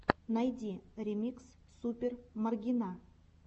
найди ремикс супер маргина